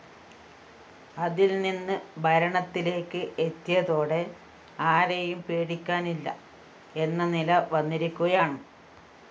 അതില്‍നിന്ന് ഭരണത്തിലേക്ക് എത്തിയതോടെ ആരെയും പേടിക്കാനില്ല എന്ന നില വന്നിരിക്കുകയാണ്